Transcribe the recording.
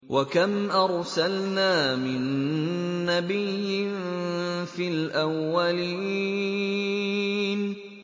وَكَمْ أَرْسَلْنَا مِن نَّبِيٍّ فِي الْأَوَّلِينَ